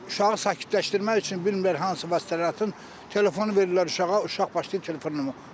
Uşağı sakitləşdirmək üçün bilmirlər hansı vasitələr atsın, telefonu verirlər uşağa, uşaq başlayır telefonla oynamağa.